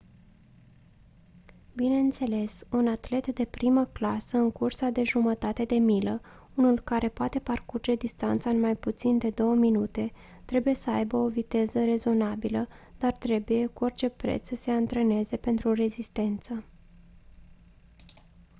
bineînțeles un atlet de primă clasă în cursa de jumătate de milă unul care poate parcurge distanța în mai puțin de două minute trebuie să aibă o viteză rezonabilă dar trebuie cu orice preț să se antreneze pentru rezistență